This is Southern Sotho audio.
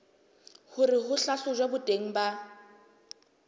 hore ho hlahlojwe boteng ba